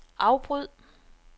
afbryd